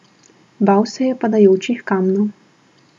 Bal se je padajočih kamnov.